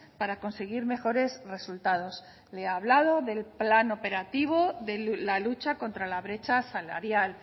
para conseguir mejores resultados le he hablado del plan operativo de la lucha contra la brecha salarial